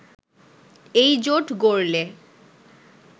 এইজোট গড়লে